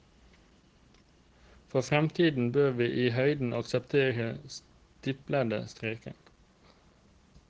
For fremtiden bør vi i høyden akseptere stiplede streker.